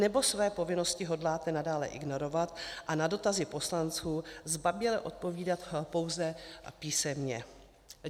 Nebo své povinnosti hodláte nadále ignorovat a na dotazy poslanců zbaběle odpovídat pouze písemně?